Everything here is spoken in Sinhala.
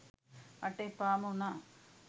මට එපාම වුනා